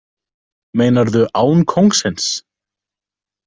Meinarðu án kóngsins?